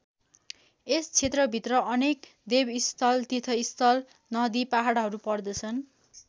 यस क्षेत्रभित्र अनेक देवस्थल तीर्थस्थल नदि पहाडहरू पर्दछन्।